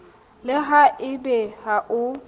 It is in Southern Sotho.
le ha ebe ha o